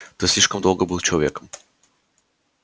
ты слишком долго был человеком